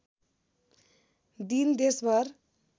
दिन देशभर